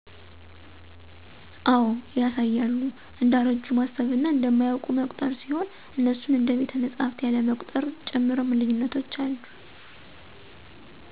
አዎ ያሳያሉ እንደአረጁ ማሰብና እንማያወቁ መቁጠር ሲሆን እነሱን እደ ቤተመፅሀፍት ያለመቁጥር ጭምርም ልዪነቶች አለ።